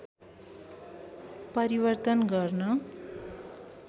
परिवर्तन गर्न